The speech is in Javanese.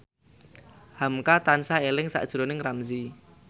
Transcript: hamka tansah eling sakjroning Ramzy